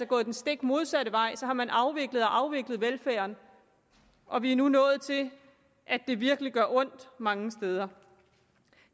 gået den stik modsatte vej så har man afviklet og afviklet velfærden og vi er nu nået til at det virkelig gør ondt mange steder